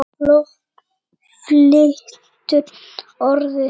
Fólk flytur Orðið.